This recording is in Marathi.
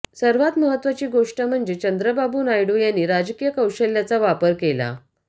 सर्वात महत्वाची गोष्ट म्हणजे चंद्राबाबू नायडू यांनी राजकीय कौशल्याचा वापर केला